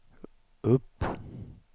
upp